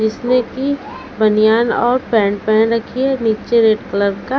जिसने की बनियान और पैंट पैहन रखी है नीचे रेड कलर का--